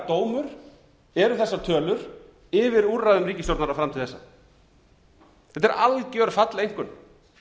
konar hörmungardómur eru þessar tölur yfir úrræðum ríkisstjórnarinnar fram til þessa þetta er algjör falleinkunn